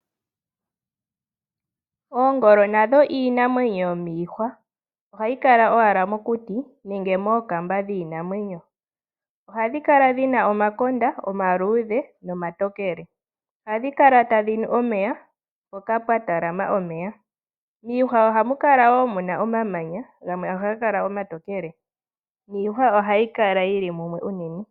Oongolo nadho iinamwenyo yomiihwa. Ohayi kala owala mokuti nenge mookamba dhiinamwenyo. Ohadhi kala dhina omakonda omaluudhe nomatokele. Ohadhi kala tadhi nu omeya mpoka pwa talama omeya. Miihwa ohamu kala woo muna omamanya gamwe ohaga kala omatokele niihwa ohayi kala yili mumwe unene.